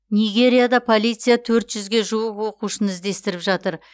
нигерияда полиция төрт жүзге жуық оқушыны іздестіріп жатыр